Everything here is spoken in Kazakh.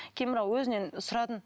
кейін бірақ өзінен сұрадым